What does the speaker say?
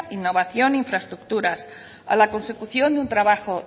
innovación infraestructuras a la consecución de un trabajo